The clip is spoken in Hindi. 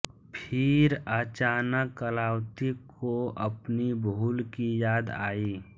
फिर अचानक कलावतीको अपनी भूल की याद आई